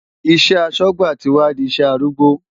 Iṣẹ́ aṣọ́gbà ti wá di iṣẹ́ arúgbó.